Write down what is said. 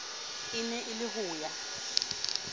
e ne e le hoya